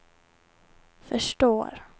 förstår